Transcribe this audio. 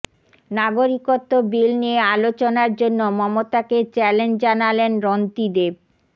নাগরিকত্ব বিল নিয়ে আলোচনার জন্য মমতাকে চ্যালেঞ্জ জানালেন রন্তিদেব